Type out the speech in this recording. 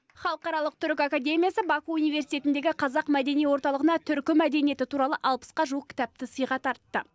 халықаралық түркі академиясы баку университетіндегі қазақ мәдени орталығына түркі мәдениеті туралы алпысқа жуық кітапты сыйға тартты